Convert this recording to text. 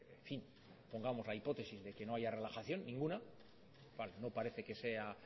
en fin pongamos la hipótesis de que no haya relajación ninguna no parece que sea